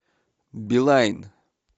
билайн